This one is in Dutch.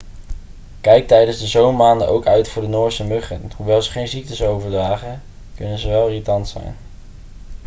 kijk tijdens de zomermaanden ook uit voor de noorse muggen hoewel ze geen ziektes overdragen kunnen ze wel irritant zijn